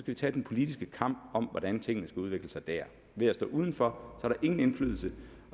vi tage den politiske kamp om hvordan tingene skal udvikle sig dér ved at stå udenfor er der ingen indflydelse